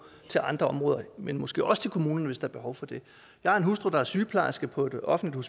til andre områder men måske også til kommunen hvis der er behov for det jeg har en hustru der er sygeplejerske på et offentligt